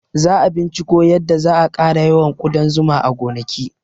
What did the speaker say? Za a binciko yadda za a ƙara yawan ƙudan zuma a gonaki